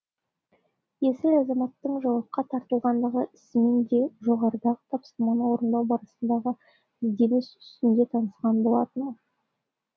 есіл азаматтың жауапқа тартылғандығы ісімен де жоғарыдағы тапсырманы орындау барысындағы ізденіс үстінде танысқан болатынмын